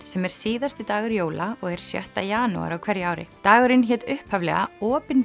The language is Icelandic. sem er síðasti dagur jóla og er sjötta janúar á hverju ári dagurinn hét upphaflega